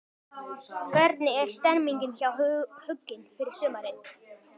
Hvernig er stemningin hjá Huginn fyrir sumarið?